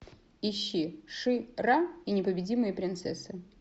ищи ши ра и непобедимые принцессы